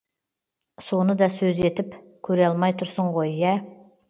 соны да сөз етіп көре алмай тұрсың ғой ә